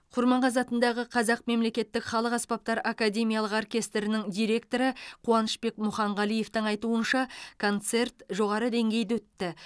құрманғазы атындағы қазақ мемлекеттік халық аспаптары академиялық оркестрінің директоры қуанышбек мұханғалиевтің айтуынша концерт жоғары деңгейде өтті